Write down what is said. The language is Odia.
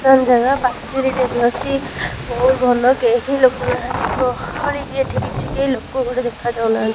ରିତନ୍ ଜାଗା ପାଚେରିଟେ ବି ଅଛି। ବୋହୁତ୍ ଭଲ କେହି ଲୋକ ନାହାନ୍ତି ଗହଳି ବି ଏଠି କିଛି କେହି ଲୋକ ଗୋଟେ ଦେଖାଯାଉ ନାହାନ୍ତି।